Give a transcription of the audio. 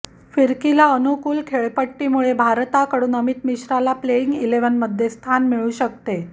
फिरकीला अनुकूल खेळपट्टीमुळै भारताकडून अमित मिश्राला प्लेईंग इलेव्हनमध्ये स्थान मिळू शकते